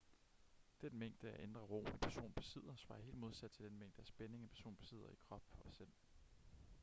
den mængde af indre ro en person besidder svarer helt modsat til den mængde af spænding en person besidder i krop og sind